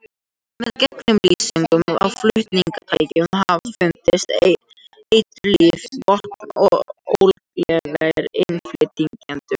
Með gegnumlýsingu á flutningatækjum hafa fundist eiturlyf, vopn og ólöglegir innflytjendur.